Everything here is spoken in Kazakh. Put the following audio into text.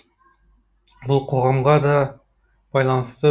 бұл қоғамға да байланысты